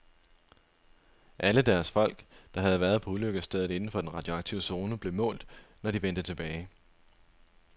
Alle deres folk, der havde været på ulykkesstedet inden for den radioaktive zone, blev målt, når de vendte tilbage.